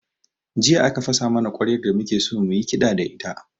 Jiya aka fasa mana ƙwaryar da muke so mu yi kiɗa da ita